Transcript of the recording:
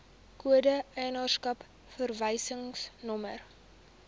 kode eienaarskap verwysingsnommer